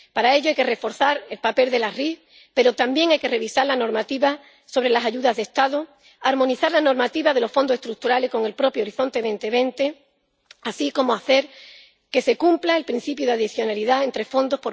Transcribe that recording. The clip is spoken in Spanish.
Para ello hay que reforzar el papel de la ID, pero también hay que revisar la normativa sobre las ayudas de Estado, armonizar la normativa de los Fondos Estructurales con el propio Horizonte 2020 y hacer que los Estados miembros cumplan el principio de adicionalidad entre fondos.